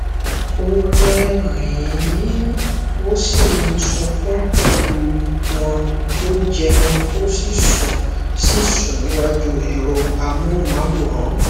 ó rẹrìnín ó sì ń sunkún pẹlú wọn ó jẹun ó sì sùn sì sùn níwájú ẹrọ amóhùnmáwòrán